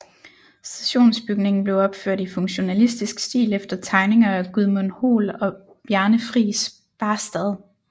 Stationsbygningen blev opført i funktionalistisk stil efter tegninger af Gudmund Hoel og Bjarne Friis Baastad